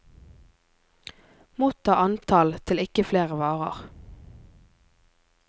Motta antall til ikke flere varer.